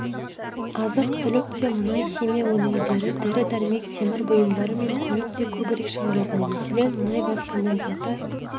азық-түлік те мұнай-химия өнімдері дәрі-дәрмек темір бұйымдары мен көлік те көбірек шығарылған мәселен мұнай газ конденсаты